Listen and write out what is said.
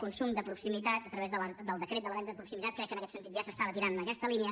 consum de proximitat a través del decret de la venda de proximitat crec que en aquest sentit ja s’estava tirant en aquesta línia